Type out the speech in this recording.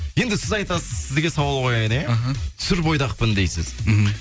енді сіз айтасыз сізге сауал қояйын иә іхі сүр бойдақпын дейсіз мхм